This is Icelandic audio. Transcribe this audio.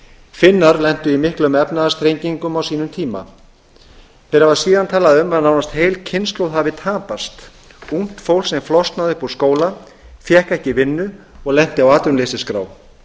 finnar lentu í einum efnahagsþrengingum á sínum tíma þeir hafa síðan tala um að nánast heil kynslóð hafi tapast ungt fólk sem flosnaði upp úr skóla fékk ekki vinnu og lenti á atvinnuleysisskrá